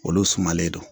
Olu sumalen don